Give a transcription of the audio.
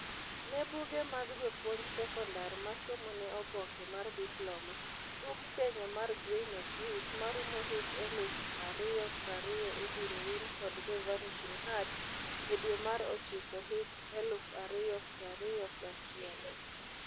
Nebuge mag jopuonj sekondar masomo ne oboke mar diploma, bug Kenya mar 'Grain of Wheat' marumo hik eluf ario prario ibiro wil kod 'The Vanishing Herds' e dwe mar ochiko hik eluf ario prario gachiel.